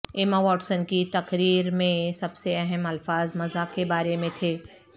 ایما Watson کی تقریر میں سب سے اہم الفاظ مذاق کے بارے میں تھے